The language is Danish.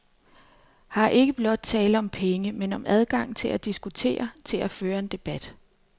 Her er der blot ikke tale om penge, men om adgang til at diskutere, til at føre en debat.